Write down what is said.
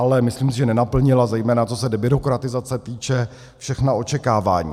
Ale myslím si, že nenaplnila zejména, co se debyrokratizace týče, všechna očekávání.